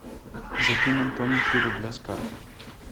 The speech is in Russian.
закинь антону три рубля с карты